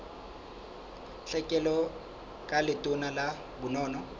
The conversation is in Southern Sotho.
tlhekelo ka letona la bonono